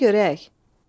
Söylə görək.